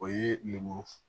O ye lemuru f